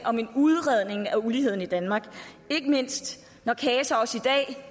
om en udredning af uligheden i danmark ikke mindst